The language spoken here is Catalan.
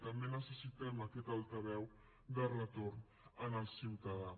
també necessitem aquest altaveu de retorn en el ciutadà